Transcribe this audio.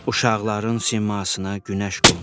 Uşaqların simasına günəş qondu.